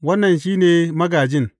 Wannan shi ne magājin.